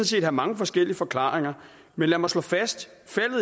set have mange forskellige forklaringer men lad mig slå fast